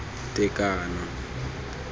tekano